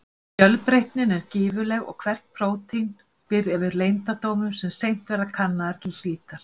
Fjölbreytnin er gífurleg og hvert prótín býr yfir leyndardómum sem seint verða kannaðir til hlítar.